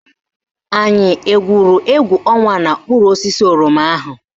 Anyị egwuru égwú ọnwa n'okpuru osisi oroma ahụ?